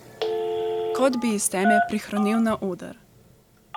Kot bi iz teme prirohnel na oder.